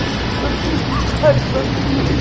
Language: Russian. заткнись п тварь заткнись